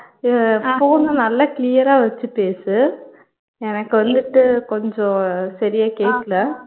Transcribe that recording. அஹ் phone நல்லா clear ஆ வச்சு பேசு எனக்கு வந்துட்டு கொஞ்சம் சரியா கேக்கல